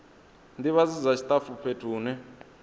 ndivhadzo dza tshitafu fhethu hune